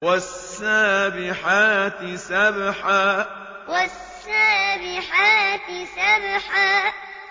وَالسَّابِحَاتِ سَبْحًا وَالسَّابِحَاتِ سَبْحًا